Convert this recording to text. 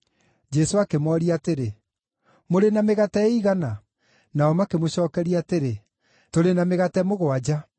Jesũ akĩmooria atĩrĩ, “Mũrĩ na mĩgate ĩigana?” Nao makĩmũcookeria atĩrĩ, “Tũrĩ na mĩgate mũgwanja.”